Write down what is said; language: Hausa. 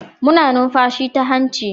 Muna numfashi ta hanci